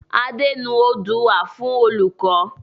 Adé nu oodua fún olùkọ́.